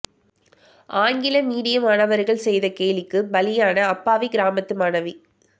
ஆங்கில மீடிய மாணவர்கள் செய்த கேலிக்குப் பலியான அப்பாவி கிராமத்து மாணவி